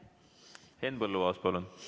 Henn Põlluaas, palun!